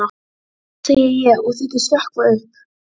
Refur nokkuð á undan en Sveinn í humáttinni.